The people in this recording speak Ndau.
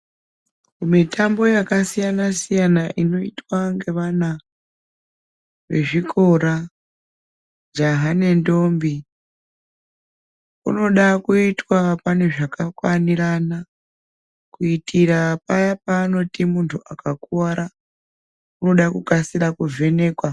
Mitambo yakasiyana- siyana inoitwa ngevana vezvikora jaha nendombi unoda kuitwa pane zvakakwanirana, kuitira paya pavanoti muntu akakuvara, unoda kukasira kuvhenekwa.